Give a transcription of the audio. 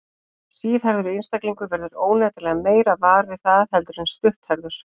Síðhærður einstaklingur verður óneitanlega meira var við það heldur en stutthærður.